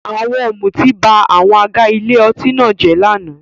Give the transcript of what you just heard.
Àwọn ọ̀mùtí ba àwọn àga ilé ọtí náà jẹ́ lánàá.